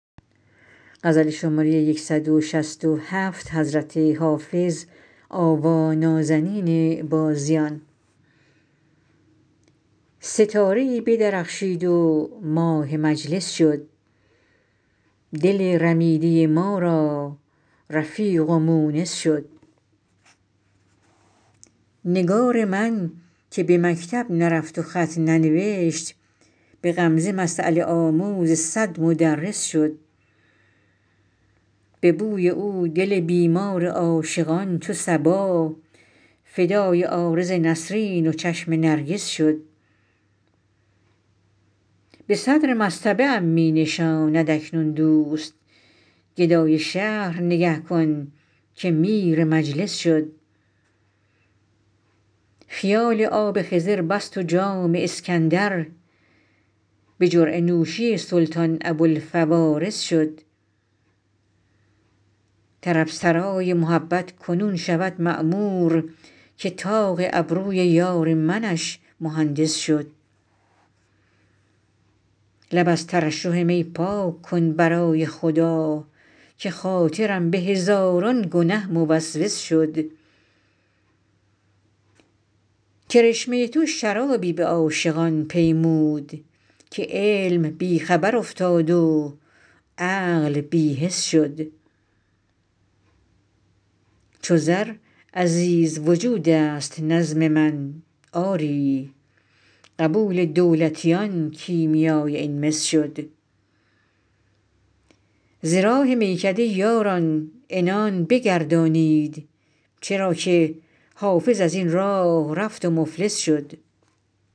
ستاره ای بدرخشید و ماه مجلس شد دل رمیده ما را رفیق و مونس شد نگار من که به مکتب نرفت و خط ننوشت به غمزه مسأله آموز صد مدرس شد به بوی او دل بیمار عاشقان چو صبا فدای عارض نسرین و چشم نرگس شد به صدر مصطبه ام می نشاند اکنون دوست گدای شهر نگه کن که میر مجلس شد خیال آب خضر بست و جام اسکندر به جرعه نوشی سلطان ابوالفوارس شد طرب سرای محبت کنون شود معمور که طاق ابروی یار منش مهندس شد لب از ترشح می پاک کن برای خدا که خاطرم به هزاران گنه موسوس شد کرشمه تو شرابی به عاشقان پیمود که علم بی خبر افتاد و عقل بی حس شد چو زر عزیز وجود است نظم من آری قبول دولتیان کیمیای این مس شد ز راه میکده یاران عنان بگردانید چرا که حافظ از این راه رفت و مفلس شد